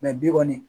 bi kɔni